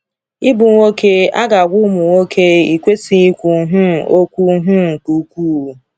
‘Ịbụ nwoke,’ a ga-agwa ụmụ nwoke, ‘ị kwesịghị ikwu um okwu um nke ukwuu.’